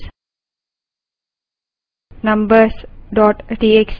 paste hyphen s